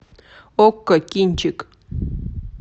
окко кинчик